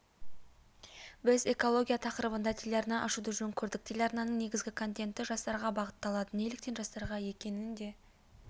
біз экология тақырыбында телеарна ашуды жөн көрдік телеарнаның негізгі контенті жастарға бағытталады неліктен жастарға екенін де